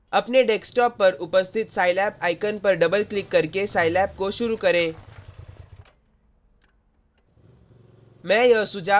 अपने डेस्कटॉप पर उपस्थित scilab आइकन पर डबल क्लिक करके साईलैब scilab को शुरू करें